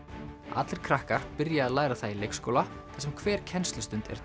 allir krakkar byrja að læra það í leikskóla þar sem hver kennslustund er